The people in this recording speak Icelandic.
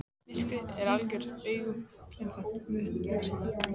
Myrkrið var algjört og augun ennþá vön ljósinu.